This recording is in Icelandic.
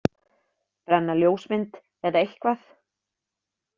Brenna ljósmynd, eða eitthvað?